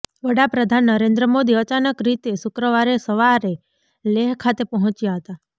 વડાપ્રધાન નરેન્દ્ર મોદી અચાનક રીતે શુક્રવારે સવારે લેહ ખાતે પહોંચ્યા હતા